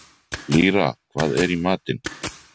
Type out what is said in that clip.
Lýra, hvað er í matinn?